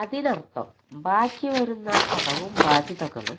അതിനർഥം ബാക്കിവരുന്ന കടവും ബാധ്യതകളും